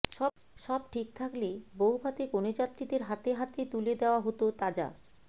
সব ঠিক থাকলে বৌভাতে কনেযাত্রীদের হাতে হাতে তুলে দেওয়া হতো তাজা